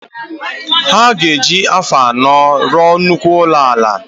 Aga eji afọ anọ rụọ nnukwu ụlọ ala